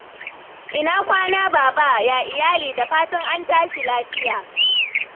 Ina kwana, Baba? Yaya iyali? Da fatan an tashi lafiya.